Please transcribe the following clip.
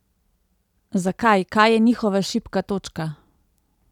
Zakaj, kaj je njihova šibka točka?